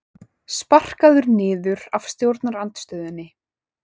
Sparkaður niður af stjórnarandstöðunni